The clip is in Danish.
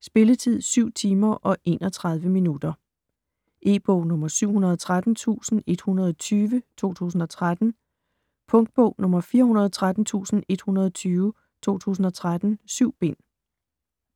Spilletid: 7 timer, 31 minutter. E-bog 713120 2013. Punktbog 413120 2013. 7 bind.